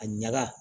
A ɲaga